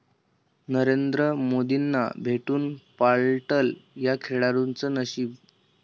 नरेंद्र मोदींना भेटून पालटलं या खेळाडूचं नशीब